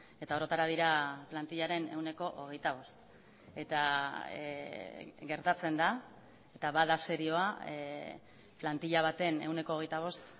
eta orotara dira plantillaren ehuneko hogeita bost eta gertatzen da eta bada serioa plantilla baten ehuneko hogeita bost